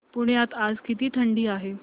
पुण्यात आज किती थंडी आहे